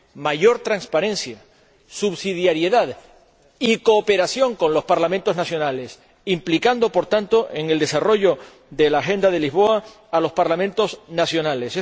mayor transparencia, subsidiariedad y cooperación con los Parlamentos nacionales, implicando, por tanto, en el desarrollo de la Agenda de Lisboa a los Parlamentos nacionales.